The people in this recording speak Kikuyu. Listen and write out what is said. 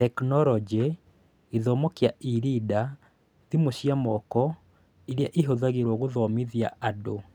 Tekinoronjĩ: Gĩthomo kĩa e-reader, thimũ cia moko irĩa ihũthagĩrũo gũthomithia andũ